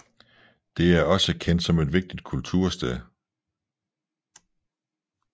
Det er også kendt som et vigtigt kultursted